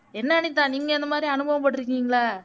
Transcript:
என்ன அனிதா நீங்க அந்த மாதிரி அனுபவம் பட்டிருக்கீங்களா